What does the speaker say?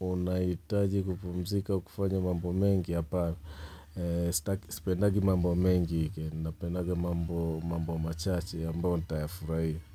unahitaji kupumzika ukufanya mambo mengi, apana Sipendagi mambo mengi wikendi, napendaga mambo machache ambayo nitayafurahiya.